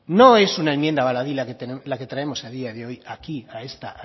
no es una enmienda baladí la que traemos a día de hoy aquí